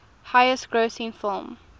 highest grossing film